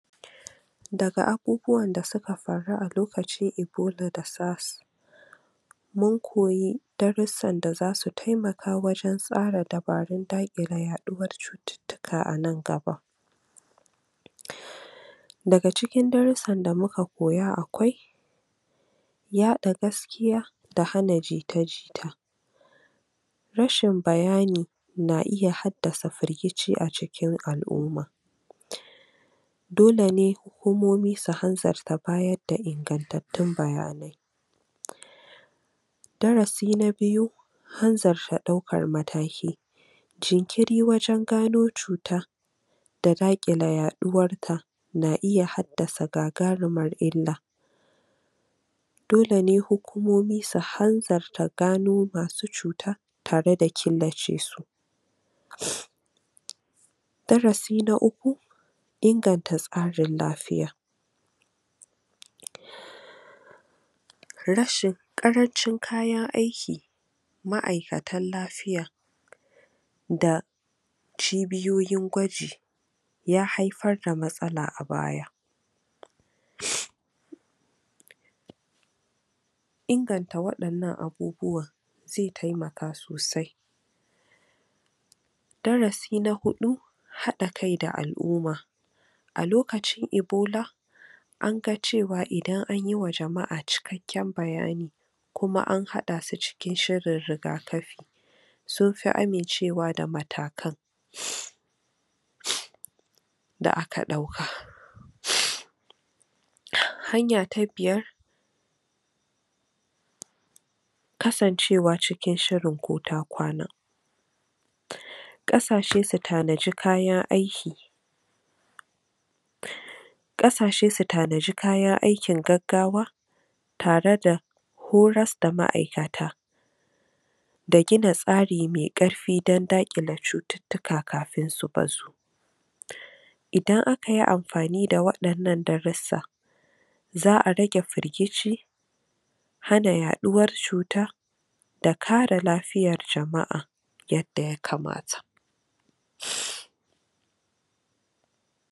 Daga abubuwan da suka faru a lokacin Ebola da SARS mun koyi darussan da za su taimaka wajen tsara dabarun daƙile yaɗuwar cututtuka anan gaba. Daga cikin darussan da muka koya akwai: yaɗa gaskiya, da hana jita-jita. Rashin bayani na iya haddasafirgici a cikin al'umma. Dole ne hukumomi su hanzarta bayar da ingantattun bayanai. Darasi na Biyu: Hanzarta ɗaukar Matakl. Jnkiri wajen gano cuta, da daƙile yaɗuwarta na iya haddasa gagarumar illa. Dole ne hukumomi su hanzarta gano masu cuta, tare da killace su. Darasi na Uku: Inganta tsarin Lafiya. Rashi, ƙarancin kayan aikin, ma'aikatan lafiya da cibiyoyin gwaji, ya haifar da matsala a baya Inganta waɗannan abubuwan, zai taimaka sosai. Darasi na Huɗu, Haɗa kai da al'umma. a lokacin Ebola, anga cewa idan an yiwa jama'a cikakken bayani, kuma an haɗa su cikin shirin rigakafi, sun fi amincewa da matakan da aka ɗauka. Hanya ta Biyar: Kasancewa cikin shirin ko ta kwana. Ƙasashe su tanadi kayan aiki ƙasashe su tandi kayan aikin gaggawa, tare da horas da ma'aikata, da gina tsari mai ƙarfi don daƙile cututtuka kafin su yaɗu. Idan akayi amfani da waɗannan darussa, za'a rage firgici, hana yaɗuwar cuta, da kare lafiyar jama'a yadda ya kamata.